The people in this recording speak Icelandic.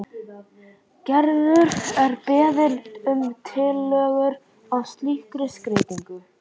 Gerður er beðin um tillögur að slíkri skreytingu.